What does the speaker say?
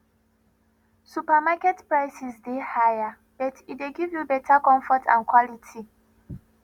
supermarket prices dey higher but e dey give better comfort and quality